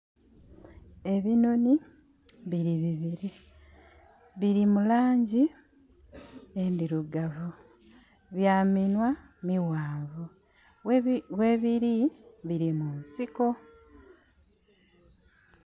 Ebinhonhi bili bibiri. Bili mu langi endhirugavu. Bya minhwa mighanvu. Ghebiri bili mu nsiko.